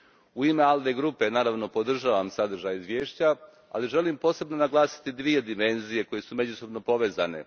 U ime ALDE grupe naravno podržavam sadržaj izvješća, ali želim posebno naglasiti dvije dimenzije koje su međusobno povezane.